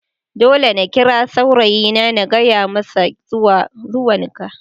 Dole na kira saurayina na gaya masa zuwan ka.